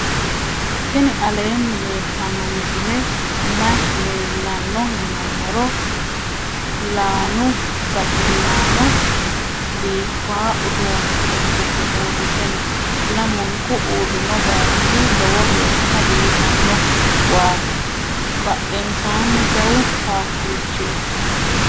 tini aleni leltano misileni maayi leelano yinnumoro. laanu baxilano bifawo uudune udidhe uurite noo. lamunku uurino bayichi loowo gesha bifano waati badhensani jawu satichi noo.